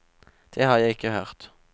Det har jeg ikke hørt.